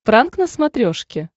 пранк на смотрешке